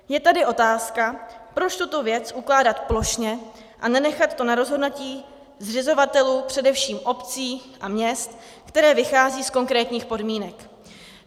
Je tady otázka, proč tuto věc ukládat plošně a nenechat to na rozhodnutí zřizovatelů, především obcí a měst, které vychází z konkrétních podmínek.